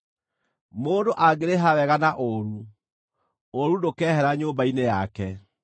Mũndũ angĩrĩha wega na ũũru, ũũru ndũkeehera nyũmba-inĩ yake.